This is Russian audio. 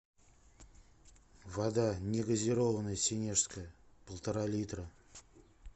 вода негазированная сенежская полтора литра